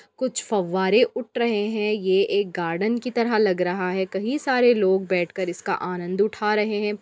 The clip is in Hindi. कुछ फव्वारे उठ रहे हैं ये एक गार्डन की तरह लग रहा है कही सारे लोग बैठकर इसका आनंद उठा रहे हैं।